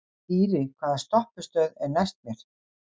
Dýri, hvaða stoppistöð er næst mér?